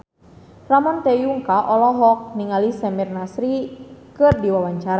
Ramon T. Yungka olohok ningali Samir Nasri keur diwawancara